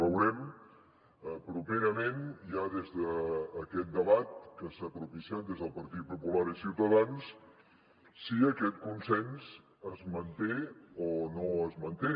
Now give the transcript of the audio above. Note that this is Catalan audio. veurem properament ja des d’aquest debat que s’ha propiciat des del partit popular i ciutadans si aquest consens es manté o no es manté